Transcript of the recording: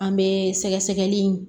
An bɛ sɛgɛsɛgɛli in